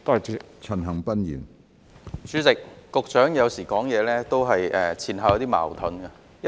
主席，局長有時候說話有點前後矛盾。